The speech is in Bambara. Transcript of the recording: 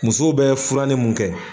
Musow bɛ furan ni mun kɛ